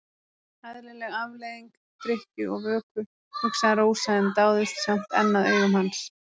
Eðlileg afleiðing drykkju og vöku, hugsaði Rósa en dáðist samt enn að augum hans.